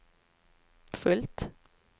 fullt